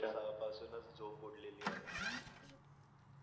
सहा पासूनच झोप उडलेली आहे.